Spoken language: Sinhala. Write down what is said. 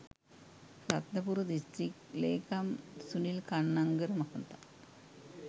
රත්නපුර දිස්ත්‍රික් ‍ලේකම් සුනිල් කන්නංගර මහතා